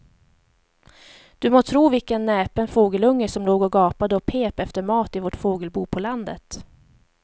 Du må tro vilken näpen fågelunge som låg och gapade och pep efter mat i vårt fågelbo på landet.